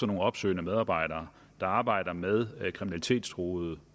nogle opsøgende medarbejdere der arbejder med kriminalitetstruede